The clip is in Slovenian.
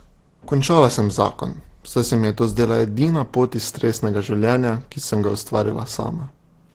Končala sem zakon, saj se mi je to zdela edina pot iz stresnega življenja, ki sem ga ustvarila sama.